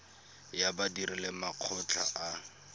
ya badiri le makgotla a